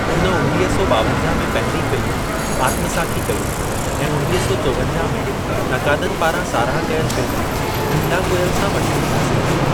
हुन उणवीह सौ ॿावंजाह में पहिरीं फ़िल्म आत्मासाखी कई ऐं उणवीह सौ चोवंजाह में नकादनि पारां साराह कयल फ़िल्म नीलाकुयिल सां मशहूरी हासिलु कई।